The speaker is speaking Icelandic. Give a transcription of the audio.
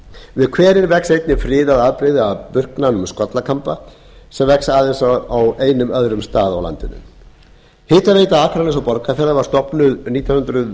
við hverinn vex einnig friðað afbrigði af burknanum skollakamba sem vex aðeins á einum öðrum stað á landinu hitaveita akraness og borgarfjarðar var stofnuð nítján hundruð